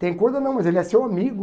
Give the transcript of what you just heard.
Tem coisa não, mas ele é seu amigo.